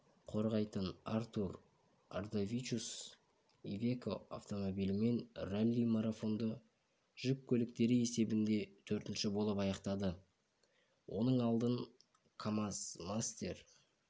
қорғайтын артур ардавичус ивеко автомобилімен ралли-марафонды жүк көліктері есебінде төртінші болып аяқтады оның алдын камаз-мастер